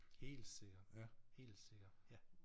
Helt sikker helt sikker ja